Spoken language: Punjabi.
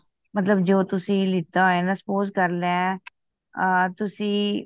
ਮਤਲਬ ਜੋ ਤੁਸੀ ਲਿਤਾ ਹੋਯਾ ਨਾ suppose ਕਰ ਲੈ ਅ ਤੁਸੀ